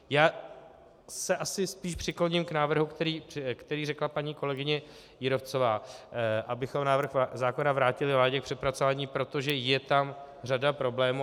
Já se asi spíš přikloním k návrhu, který řekla paní kolegyně Jírovcová, abychom návrh zákona vrátili vládě k přepracování, protože je tam řada problémů.